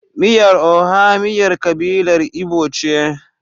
Miyar Oha Miyar kabilar Igbo ce.